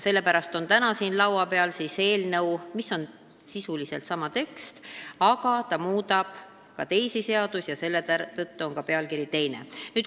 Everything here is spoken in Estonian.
Sellepärast ongi täna siin laua peal eelnõu, kus on sisuliselt sama tekst, aga mille pealkiri on teine.